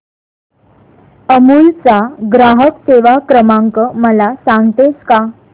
अमूल चा ग्राहक सेवा क्रमांक मला सांगतेस का